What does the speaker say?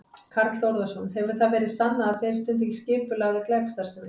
Karl Þórðarson: Hefur það verið sannað að þeir stundi skipulagða glæpastarfsemi?